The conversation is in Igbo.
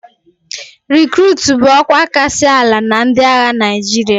Rikruutu bụ ọkwa kasị ala na ndị agha Naịjirịa